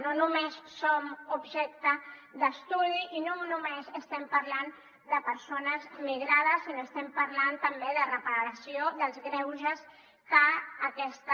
no només som objecte d’estudi i no només estem parlant de persones migrades sinó estem parlant també de reparació dels greuges que aquesta